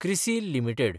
CRISIL limited